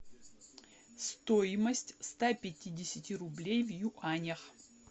стоимость ста пятидесяти рублей в юанях